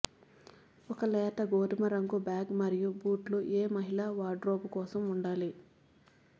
ఒక లేత గోధుమ రంగు బ్యాగ్ మరియు బూట్లు ఏ మహిళల వార్డ్రోబ్ కోసం ఉండాలి